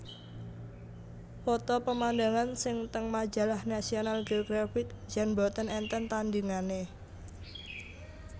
Foto pemandangan sing teng majalah National Geographic jan mboten enten tandingane